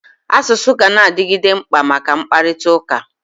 Asụsụ ganadigide mkpa maka mkpakụrịta ụka.